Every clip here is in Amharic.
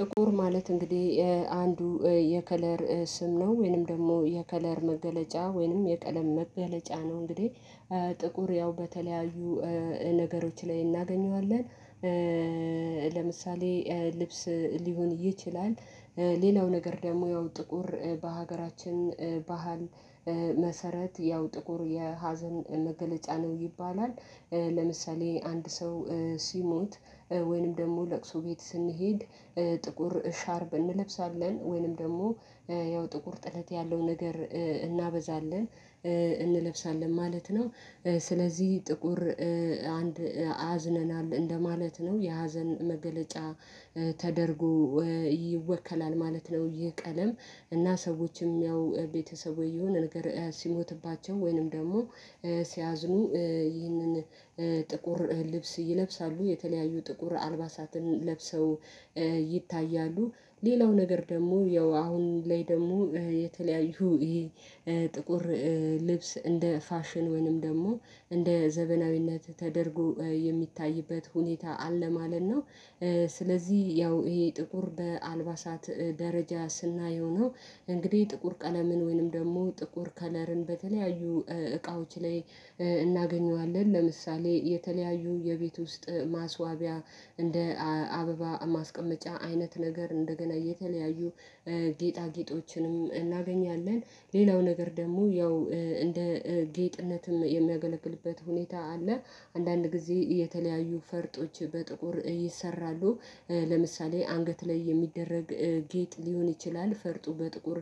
ጥቁር ማለት እንግዲህ አንዱ የከለር ስም ነው ወይንም ደግሞ የከለር መገለጫ ወይንም የቀለም መገለጫ ነው። እንግዲህ ጥቁር ያው በተለያዩ ነገሮች ላይ እናገኘዋለን፣ ለምሳሌ ልብስ ሊሆን ይችላል፣ ሌላው ነገር ደግሞ ያው ጥቁር በሀገራችን ባህል መሰረት ያው ጥቁር የሀዘን መገለጫ ነው ይባላል ለምሳሌ አንድ ሰው ሲሞት ወይንም ደግሞ ለቅሶ ቤት ስንሄድ ጥቁር ሻርብ እንለብሳለን ወይንም ደግሞ ያው ጥቁር ጥለት ያለው ነገር እናበዛለን እንለብሳለን ማለት ነው። ስለዚህ ጥቁር አንድ አዝነናል እንደማለት ነው የሀዘን መገለጫ ተደርጎ ይወከላል ማለት ነው ይሄ ቀለም እና ሰዎችም ያው ቤተሰቦች ይሁን ንገር ሲሞትባቸው ወይንም ደግሞ ሲያዝኑ ይህንን ጥቁር ልብስ ይለብሳሉ፣ የተለያዩ ጥቁር አልባሳትን ለብሰው ይታያሉ፣ ሌላው ነገር ደግሞ ያው አሁን ላይ ደግሞ የተለያዩ ይሄ ጥቁር ልብስ እንደ ፋሽን ወይንም ደግሞ እንደ ዘበናዊነት ተደርጎ የሚታይበት ሁኔታ አለ ማለት ነው። ስለዚህ ያው ይሄ ጥቁር በአልባሳት ደረጃ ስናየው ነው እንግዲህ ጥቁር ቀለምን ወይንም ደግሞ ጥቁር ከለርን በተለያዩ እቃዎች ላይ እናገኘዋለን ለምሳሌ የተለያዩ የቤት ውስጥ ማስዋቢያ እንደ አበባ ማስቀመጫ አይነት ነገር እንደገላየተ የተለያዩ ጌጣጌጦችንም እናገኛለን ሌላው ነገር ደግሞ ያው እንደ ጌጥነትም የሚያገለግልበት ሁኔታ አለ። አንዳንድ ጊዜ የተለያዩ ፈርጦች በጥቁር ይሰራሉ ለምሳሌ አንገት ላይ የሚደረግ ጌጥ ሊሆን ይችላል ፈርጡ በጥቁር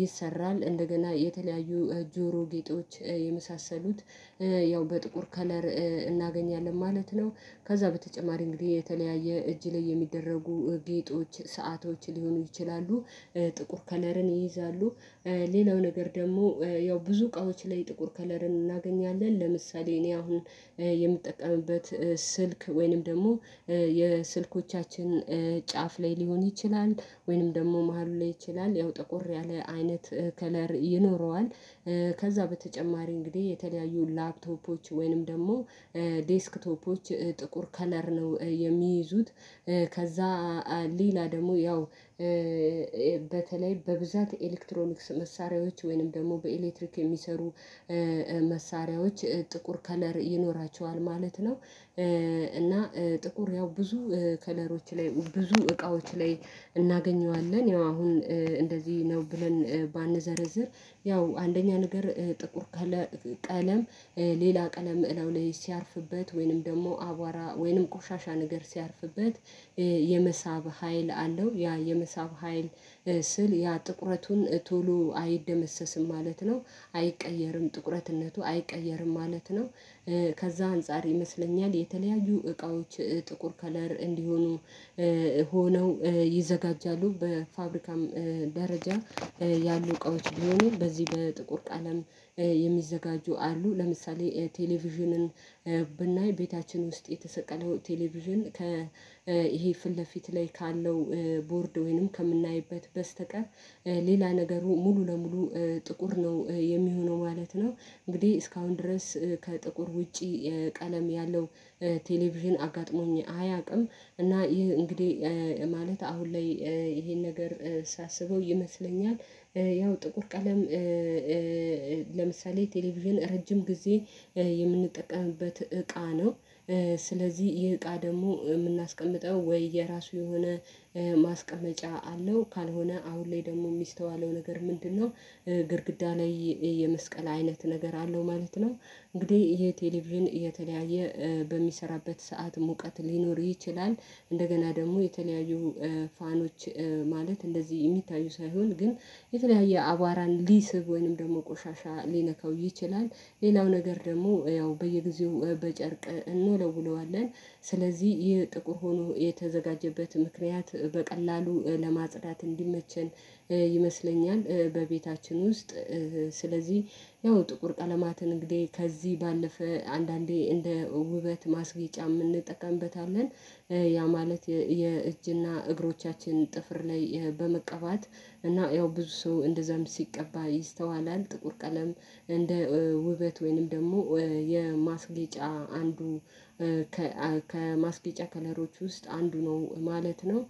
ይሰራል፣ እንደገና የተለያዩ ጆሮ ጌጦች የመሳሰሉት ያው በጥቁር ከለር እናገኛለን ማለት ነው ከዛ በተጨማሪ እንግዲህ የተለያየ እጅ ላይ የሚደረጉ ጌጦች፣ ሰአቶች ሊሆኑ ይችላሉ። ጥቁር ከለርን ይይዛሉ ሌላው ነገር ደግሞ ያው ብዙ እቃዎች ላይ ጥቁር ከለርን እናገኛለን ለምሳሌ እኔ አሁን የምጠቀምበት ስልክ ወይንም ደግሞ የስልኮቻችን ጫፍ ላይ ሊሆን ይችላል ወይንም ደግሞ መሃሉ ላይ ይችላል ያው ጥቁር ያለ አይነት ከለር ይኖረዋል ከዛ በተጨማሪ እንግዲህ የተለያዩ ላፕቶፖች ወይንም ደግሞ ዴስክቶፖች ጥቁር ከለር ነው የሚይዙት ከዛ ሌላ ደግሞ ያው በተለይ በብዛት ኤሌክትሮኒክስ መሳሪያዎች ወይንም ደግሞ በኤሌክትሪክ የሚሰሩ መሳሪያዎች ጥቁር ከለር ይኖራቸዋል ማለት ነው። እና ጥቁር ያው ብዙ ከለሮች ላይ ብዙ እቃዎች ላይ እናገኘዋለን ያው አሁን እንደዚህ ነው ብለን ባንዘረዝር ያው አንደኛ ነገር ጥቁር ቀለም ሌላ ቀለም እላው ላይ ሲያርፍበት ወይንም ደግሞ አቧራ ወይንም ቆሻሻ ነገር ሲያርፍበት የመሳብ ሀይል አለው ያ የመሳብ ሀይል ስል ያ ጥቁረቱን ቶሎ አይደመሰስም ማለት ነው አይቀየርም ጥቁረትነቱ አይቀየርም ማለት ነው፣ ከዛ አንፃር ይመስለኛል የተለያዩ እቃዎች ጥቁር ከለር እንዲሆኑ ሆነው ይዘጋጃሉ በፋብሪካም ደረጃ ያሉ እቃዎች ቢሆኑ በዚህ በጥቁር ቀለም የሚዘጋጁ አሉ ለምሳሌ ቴሌቪዥንን ብናይ ቤታችን ውስጥ የተሰቀለው ቴሌቪዥን ከ ይሄ ፊት ለፊት ላይ ካለው ቦርድ ወይንም ከምናይበት በስተቀር ሌላ ነገሩ ሙሉ ለሙሉ ጥቁር ነው የሚሆነው ማለት ነው እንግዲህ እስካሁን ድረስ ከጥቁር ውጪ ቀለም ያለው ቴሌቪዥን አጋጥሞኝ አያውቅም እና ይህ እንግዲህ ማለት አሁን ላይ ይሄን ነገር ሳስበው ይመስለኛል ያው ጥቁር ቀለም ለምሳሌ ቴሌቪዥን ረጅም ጊዜ የምንጠቀምበት እቃ ነው፣ ስለዚህ ይህ እቃ ደግሞ የምናስቀምጠው ወይ የራሱ የሆነ ማስቀመጫ አለው ካልሆነ አሁን ላይ ደግሞ የሚስተዋለው ነገር ምንድነው ግድግዳ ላይ የመስቀል አይነት ነገር አለው ማለት ነው። እንግዲህ የቴሌቪዥን የተለያየ በሚሰራበት ሰዓት ሙቀት ሊኖር ይችላል እንደገና ደግሞ የተለያዩ ፋኖች ማለት እንደዚህ የሚታዩ ሳይሆን ግን የተለያየ አቧራን ሊስብ ወይንም ደግሞ ቆሻሻ ሊነካው ይችላል ሌላው ነገር ደግሞ ያው በየጊዜው በጨርቅ እንወለውለዋለን ስለዚህ ይህ ጥቁር ሆኖ የተዘጋጀበት ምክንያት በቀላሉ ለማጽዳት እንዲመችን ይመስለኛል በቤታችን ውስጥ ስለዚህ ያው ጥቁር ቀለማትን እንግዲህ ከዚህ ባለፈ አንዳንዴ እንደ ውበት ማስጌጫም እንጠቀምበታለን፣ ያ ማለት የእጅና እግሮቻችን ጥፍር ላይ በመቀባት እና ያው ብዙ ሰው እንደዛም ሲቀባ ይስተዋላል ጥቁር ቀለም እንደ ውበት ወይንም ደግሞ የማስጌጫ አንዱ ከማስጌጫ ከለሮች ውስጥ አንዱ ነው ማለት ነው።